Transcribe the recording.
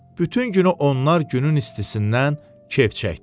Bütün günü onlar günün istisindən kef çəkdilər.